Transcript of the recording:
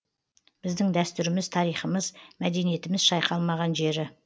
біздің дәстүріміз тарихымыз мәдениетіміз шайқалмаған жері